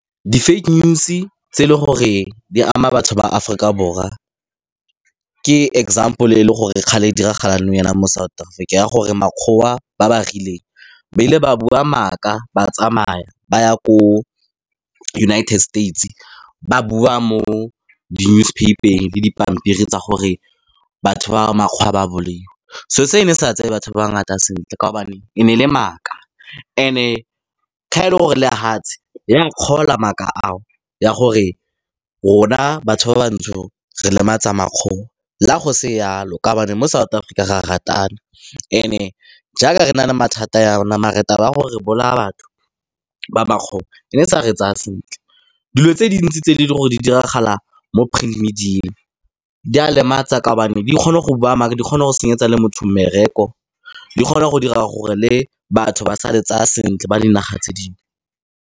Di-fake news tse e leng gore di ama batho ba Aforika Borwa, ke example e leng gore kgale e diragala nou mo South Africa, ya gore makgowa ba ba rileng, ba ile ba bua maaka ba tsamaya ba ya ko United States, ba bua mo di-newspaper-eng le dipampiri tsa gore batho ba makgowa ba bolaiwa. So seo se ne se sa tseye batho ba ngata sentle ka kaobane e ne e le maaka, e ne gore lehatshe ya kgolwa maaka ao gore rona batho ba bantsho re lematsa makgowa la go se jalo ka kaobane mo South Africa ra ratana, ene jaaka re na le mathata ya na mare taba ya gore re bolaya batho ba makgowa, e ne e sa re tsaya sentle. Dilo tse dintsi tse di leng gore di diragala mo di a lematsa ka gobane di kgone go bua maka, di kgona go senyetsa le motho mmereko, di kgona go dira gore le batho ba sa re tseya sentle, ba dinaga tse dingwe.